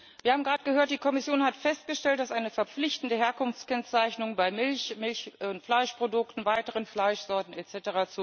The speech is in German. Wir haben gerade gehört Die Kommission hat festgestellt, dass eine verpflichtende Herkunftskennzeichnung bei Milch, Milch und Fleischprodukten, weiteren Fleischsorten etc.